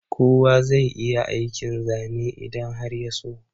Kowa zai iya aikin Zane idan har ya so.